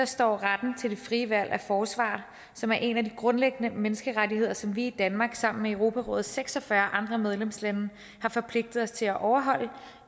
står retten til det frie valg af forsvarer som er en af de grundlæggende menneskerettigheder som vi i danmark sammen med europarådets seks og fyrre andre medlemslande har forpligtet os til at overholde